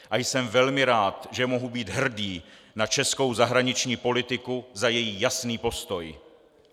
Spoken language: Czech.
A jsem velmi rád, že mohu být hrdý na českou zahraniční politiku za její jasný postoj.